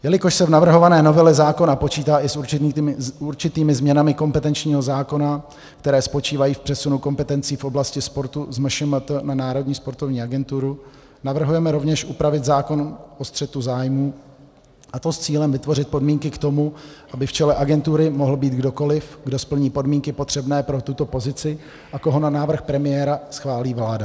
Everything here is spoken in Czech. Jelikož se v navrhované novele zákona počítá i s určitými změnami kompetenčního zákona, které spočívají v přesunu kompetencí v oblasti sportu z MŠMT na Národní sportovní agenturu, navrhujeme rovněž upravit zákon o střetu zájmů, a to s cílem vytvořit podmínky k tomu, aby v čele agentury mohl být kdokoli, kdo splní podmínky potřebné pro tuto pozici a koho na návrh premiéra schválí vláda.